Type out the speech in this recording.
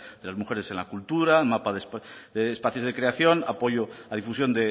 de las mujeres en la cultura mapa de espacios de creación apoyo a difusión